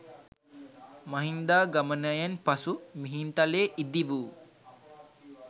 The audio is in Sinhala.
මහින්දාගමනයෙන් පසු මිහින්තලේ ඉදි වූ